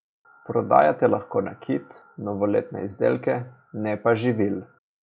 Prodajate lahko nakit, novoletne izdelke, ne pa živil.